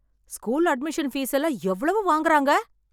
School admission fees எல்லாம் எவ்வளவு வாங்குறாங்க?